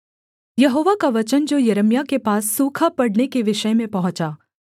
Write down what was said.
यहोवा का वचन जो यिर्मयाह के पास सूखा पड़ने के विषय में पहुँचा